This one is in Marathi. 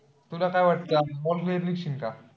तुला काय वाटत का?